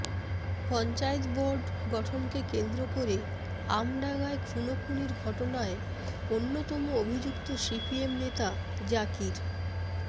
panchayat board গঠনকে কেন্দ্র করে আমডাঙায় খুনোখুনির ঘটনায় অন্যতম অভিযুক্ত সিপিএম নেতা জাকির